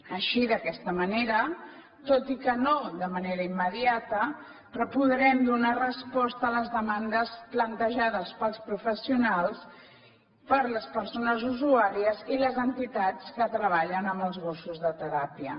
així d’aquesta manera tot i que no de manera immediata però podrem donar resposta a les demandes plantejades pels professionals per les persones usuàries i les entitats que treballen amb els gossos de teràpia